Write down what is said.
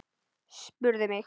Spurðu mig.